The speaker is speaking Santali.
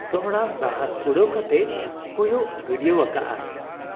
ᱫᱚᱦᱲᱟ ᱥᱟᱦᱟᱸᱥ ᱠᱩᱲᱟᱹᱣ ᱠᱟᱛᱮ ᱠᱚᱭᱚᱜ ᱜᱟᱹᱰᱭᱟᱹᱣ ᱟᱠᱟᱜ ᱟᱭ ᱾